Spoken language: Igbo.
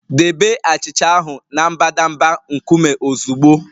Debe achịcha ahụ na mbadamba nkume ozugbo